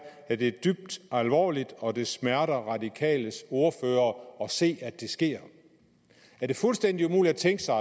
at det er dybt alvorligt og at det smerter radikales ordfører at se at det sker er det fuldstændig umuligt at tænke sig